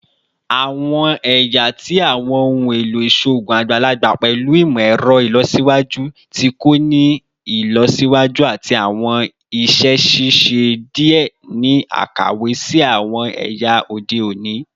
Awọn ẹya ti awọn ohun elo iṣoogun agbalagba pẹlu imọ-ẹrọ ilọsiwaju ti ko ni ilọsiwaju ati awọn iṣẹ ṣiṣe diẹ ni akawe si awọn ẹya ode oni